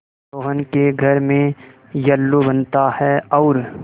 रोहन के घर में येल्लू बनता है और